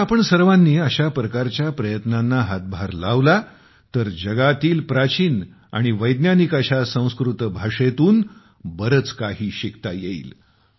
जर आपण सर्वांनी अशा प्रकारच्या प्रयत्नांना हातभार लावला तर जगातील प्राचीन आणि वैज्ञानिक अशा संस्कृत भाषेतून बरेच काही शिकता येईल